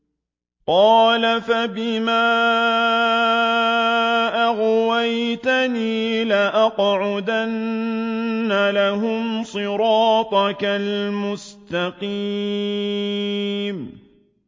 قَالَ فَبِمَا أَغْوَيْتَنِي لَأَقْعُدَنَّ لَهُمْ صِرَاطَكَ الْمُسْتَقِيمَ